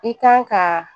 I kan ka